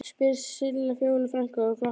spyr Silla Fjólu frænku og glottir.